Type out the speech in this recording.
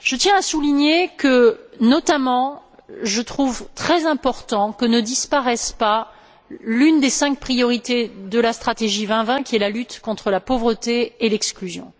Je tiens à souligner que, notamment, il est très important que ne disparaisse pas l'une des cinq priorités de la stratégie 2020 qui est la lutte contre la pauvreté et l'exclusion.